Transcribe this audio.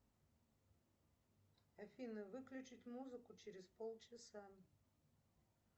афина выключить музыку через полчаса